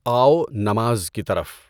آؤ نماز کی طرف